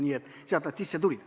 Nii et sealt nad sisse tulid.